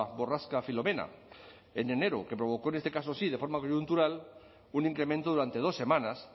borrasca filomena en enero que provocó en este caso sí de forma coyuntural un incremento durante dos semanas